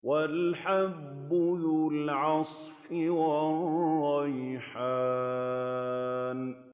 وَالْحَبُّ ذُو الْعَصْفِ وَالرَّيْحَانُ